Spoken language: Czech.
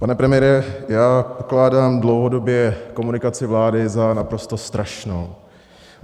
Pane premiére, já pokládám dlouhodobě komunikaci vlády za naprosto strašnou.